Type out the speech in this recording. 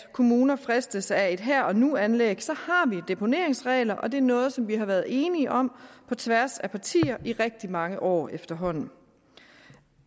at kommuner fristes af et her og nu anlæg har vi deponeringsregler og det er noget som vi har været enige om på tværs af partier i rigtig mange år efterhånden